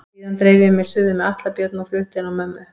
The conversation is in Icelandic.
Síðan dreif ég mig suður með Atla Björn og flutti inn á mömmu.